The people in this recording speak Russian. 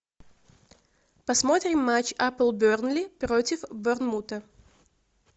посмотрим матч апл бернли против борнмута